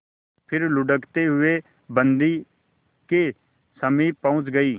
फिर लुढ़कते हुए बन्दी के समीप पहुंच गई